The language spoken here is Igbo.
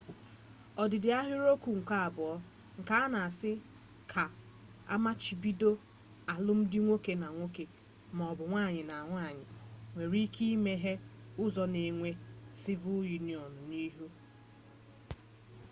odida ahiriokwu nke abuo nke na-asi ka amachibido alum di nwoke na nwoke ma o bu nwanyi na nwanyi nwere ike imeghe uzo ka enwe civil union n'ihu